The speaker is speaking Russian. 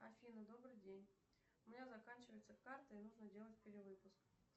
афина добрый день у меня заканчивается карта и нужно делать перевыпуск